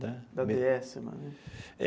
Da dê esse lá né?